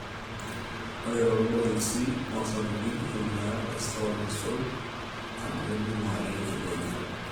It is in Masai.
ore too ilgosil osapukin, ntumia esoo nasul amu kedungu ake eitu einyal olchani